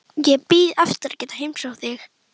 Ég bíð eftir að geta heimsótt þig.